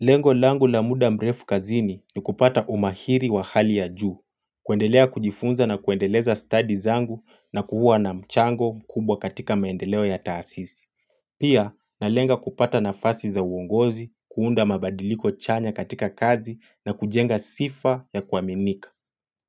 Lengo langu la muda mrefu kazini ni kupata umahiri wa hali ya juu, kuendelea kujifunza na kuendeleza stadi zangu na kuwa na mchango mkubwa katika maendeleo ya taasisi. Pia nalenga kupata nafasi za uongozi, kuunda mabadiliko chanya katika kazi na kujenga sifa ya kuaminika.